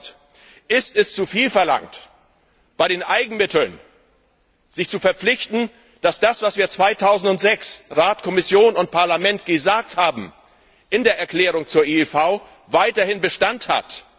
2000? Ist es zuviel verlangt, bei den Eigenmitteln sich zu verpflichten, dass das, was wir 2006 Rat, Kommission und Parlament gesagt haben, in der Erklärung zur IIV, weiterhin Bestand hat?